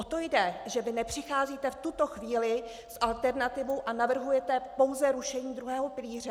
O to jde, že vy nepřicházíte v tuto chvíli s alternativou a navrhujete pouze rušení druhého pilíře.